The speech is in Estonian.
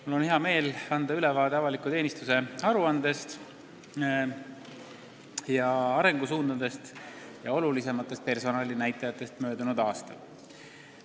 Mul on hea meel anda ülevaade avaliku teenistuse aruandest ja arengusuundadest ning olulisematest personalinäitajatest möödunud aastal.